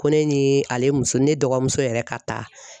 Ko ne ni ale muso ne dɔgɔmuso yɛrɛ ka taa.